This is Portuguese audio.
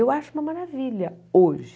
Eu acho uma maravilha hoje.